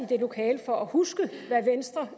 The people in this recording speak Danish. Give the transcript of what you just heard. det lokale for at huske hvad venstre